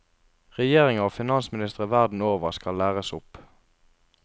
Regjeringer og finansministre verden over skal læres opp.